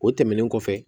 O tɛmɛnen kɔfɛ